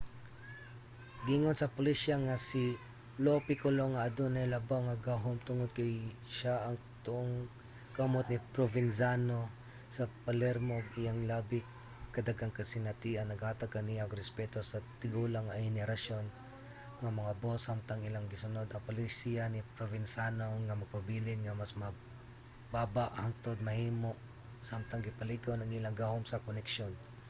giingon sa pulisya nga si lo piccolo ang adunay labaw nga gahum tungod kay siya ang tuong kamot ni provenzano sa palermo ug ang iyang labi ka daghang kasinatian naghatag kaniya og respeto sa tigulang nga henerasyon nga mga boss samtang ilang gisunod ang palisiya ni provenzano nga magpabilin nga mas mababa hangtod mahimo samtang gipalig-on ang ilang gahom sa koneksyon